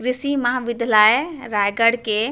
कृषि महाविद्यालय रायगड़ के--